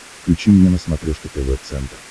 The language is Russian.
включи мне на смотрешке тв центр